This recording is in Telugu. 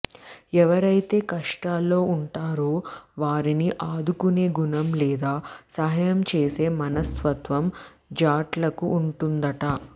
ఎవరైతే కష్టాల్లో ఉంటారో వారిని ఆదుకునే గుణం లేదా సహాయం చేసే మనస్తత్వం జాట్లకు ఉంటుందట